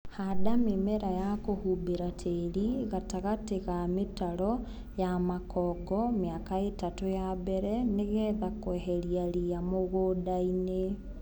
Handa mĩmera ya kũhumbĩra tĩri gatagatĩ ga mĩtaro ya makongo miaka itatũ ya mbele nĩgetha kweheria ria mũgũndaini.